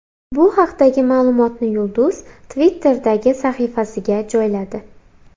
Bu haqdagi ma’lumotni yulduz Twitter’dagi sahifasiga joyladi.